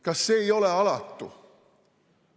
Kas see ei ole alatu?